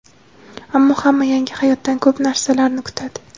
Ammo hamma yangi hayotdan ko‘p narsalarni kutadi.